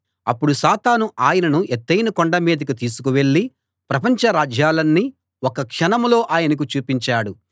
అప్పుడు సాతాను ఆయనను ఎత్తయిన కొండ మీదికి తీసుకు వెళ్ళి ప్రపంచ రాజ్యాలన్నీ ఒక్క క్షణంలో ఆయనకు చూపించాడు